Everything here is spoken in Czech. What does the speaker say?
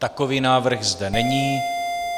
Takový návrh zde není.